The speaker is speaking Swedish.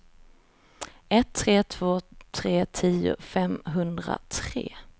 ett tre två tre tio femhundratre